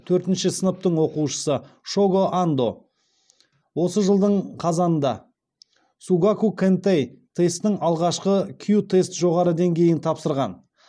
төртінші сыныптың оқушысы шого андо осы жылдың қазанында сугаку кэнтэй тестінің алғашқы кю тест жоғары деңгейін тапсырған